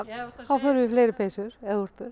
þá förum við í fleiri peysur eða